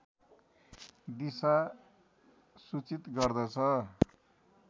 दिशा सूचित गर्दछ